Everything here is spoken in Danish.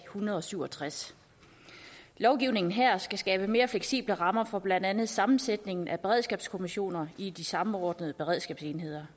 hundrede og syv og tres lovgivningen her skal skabe mere fleksible rammer for blandt andet sammensætningen af beredskabskommissioner i de samordnede beredskabsenheder